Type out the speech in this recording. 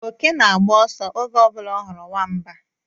Oke na-agba ọsọ oge ọ bụla ọ hụrụ Nwamba